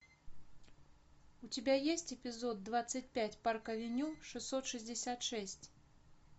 у тебя есть эпизод двадцать пять парк авеню шестьсот шестьдесят шесть